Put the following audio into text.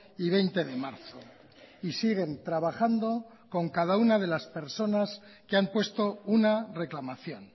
y veinte de marzo y siguen trabajando con cada una de las personas que han puesto una reclamación